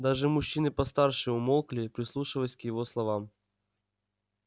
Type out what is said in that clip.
даже мужчины постарше умолкли прислушиваясь к его словам